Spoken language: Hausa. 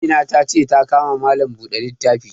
Amina ta ce ta ka ma malam buɗe littafi